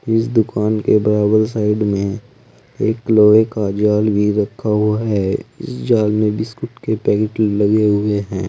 जिस दुकान के बगल साइड में एक लोहे का जाल भी रखा हुआ है जिस जाल में बिस्कुट के पैकेट लगे हुए हैं।